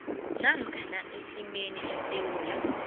namkha isimeni esewula